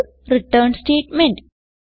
ഇത് return statement